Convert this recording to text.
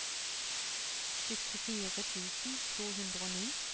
syttifire tusen to hundre og ni